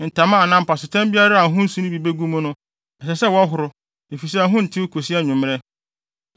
Ntama anaa mpasotam biara a ho nsu no bi begu mu no, ɛsɛ sɛ wɔhoro, efisɛ ɛho ntew kosi anwummere.